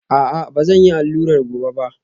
A'a, ba zan yi allurar gobe ba